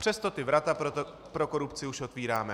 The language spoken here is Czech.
Přesto ta vrata pro korupci už otevíráme.